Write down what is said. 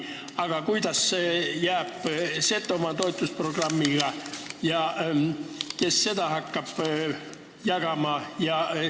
Aga kuidas jääb Setomaa toetusprogrammiga – kes hakkab seda raha jagama?